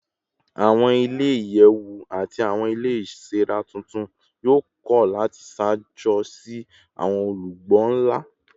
Awọn ile-iyẹwu ati awọn ile iṣere tuntun yoo kọ lati ṣaajo si awọn olugbo nla